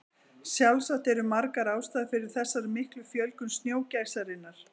Sjálfsagt eru margar ástæður fyrir þessari miklu fjölgun snjógæsarinnar.